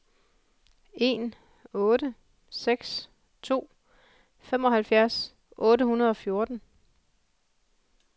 en otte seks to femoghalvfjerds otte hundrede og fjorten